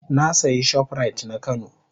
Na sayi shoprite na kano.